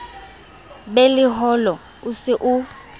be leholo o se o